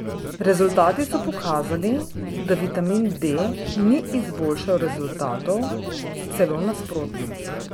Rezultati so pokazali, da vitamin D ni izboljšal rezultatov, celo nasprotno.